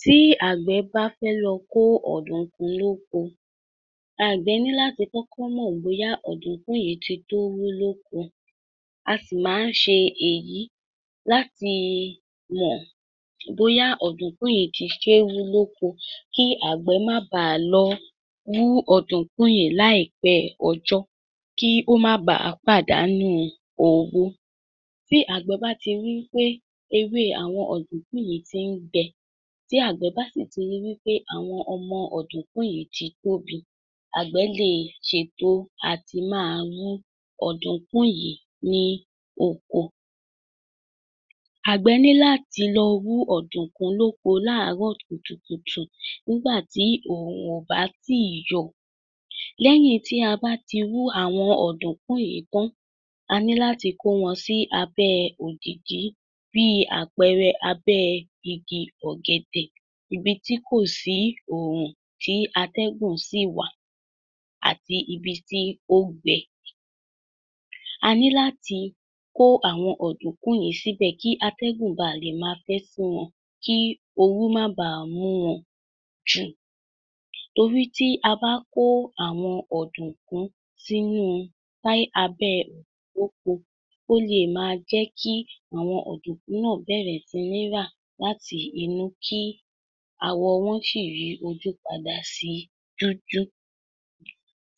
Tí àgbẹ̀ bá fẹ́ lọ kó ọ̀dùnkún lóko, àgbẹ̀ ní láti kọ́kọ́ mọ̀ bóyá ọ̀dùnkún yìí ti tó wú lóko, àti máa ń ṣe èyí láti mọ̀ bóyá ọ̀dùnkún yìí ti ṣe é wú lóko kí àgbẹ̀ má baà lọ wú ọ̀dùnkún yìí láìpẹ́ ọjọ́ kí ó má baà pàdánù owó. Bí àgbẹ̀ bá ti rí i pé ewé àwọn ọ̀dùnkún yìí ti ń gbẹ tí àgbẹ̀ bá sì ti rí wí pé àwọn ọmọ ọ̀dùnkún ti tóbi, àgbẹ̀ lè ṣètò àti máa wú ọ̀dùnkún yìí ní oko. Àgbẹ̀ ní láti lọ wú ọ̀dùnkún lóko láàárọ̀ kùtùkùtù nígbà tí oòrùn ò bá tíì yọ. Níwọ̀n ìgbà tí a bá ti wú àwọn ọ́dùnkún yìí tán,a ní láti kó wọn sí abẹ́ òjììji bí àpẹẹrẹ, abẹ́ igi ọ̀gẹ̀dẹ̀ ibi tí kò sí ooru tí atẹ́gùn sì wà àti ibi tí ó gbẹ. A ní láti kó àwọn ọ̀dùnkún yìí síbẹ̀ kí atẹ́gùn baà lè máa fẹ́ sí wọn kí ooru má baà mú wọn jù torí tí a bá kó àwọn ọdùnkún sìnú báyìí abẹ́ oko, ó lè máa jẹ́ kí àwọn ọ̀dùnkún bẹ̀rẹ̀ sí ní rà láti inú kí àwọ̀ wọn sì yí ojú padà sí dúdú.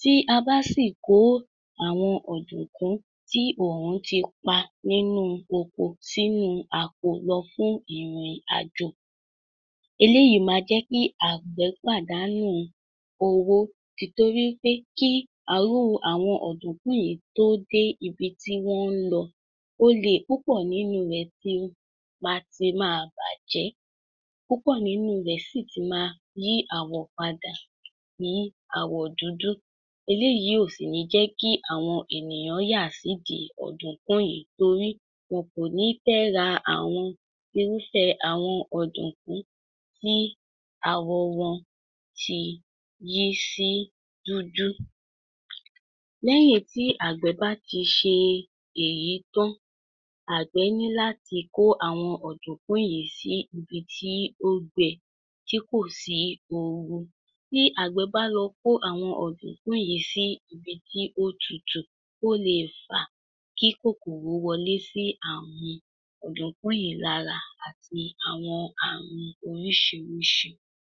Tí a bá sì kó àwọn ọ̀dùnkún tí oòrùn ti pa nínú oko sínú àpò wa fún ìrìn àjò, eléyìí máa jẹ́ kí àgbẹ̀ pàdánù owó, tìtorí pé kí àwọn ọ̀dùnkún yìí tó dé ibi tí wọ́n ń lọ, ó lè ti máa bàjẹ́, púpọ̀ nínú rẹ̀ sì ti máa yí àwọ̀ padà sí àwọ̀ dúdú, eléyìí ò sì ní jẹ́ kí àwọn ènìyàn yà sídìí ọ̀dùnkún yìí torí kò ní fẹ́ ra àwọn irúfẹ́ ọ̀dùnkún bẹ́ẹ̀ tí àwọ̀ wọn ti yí sí dúdú. Lẹ́yìn tí àgbẹ̀ bá ti ṣe èyí tán, àgbẹ̀ ní láti kó àwọn ọ̀dùnkún yìí sí ibi tí ó gbẹ tí kò sí ooru, tí àgbẹ̀ bá lọ kó àwọn ọ̀dùnkún yìí sí ibi tí ó tutù, ó lè fa kí kòkòrò wọlé sí àwọn ọ̀dùnkún yìí lára àti àwọn ààrùn oríṣiìríṣìí.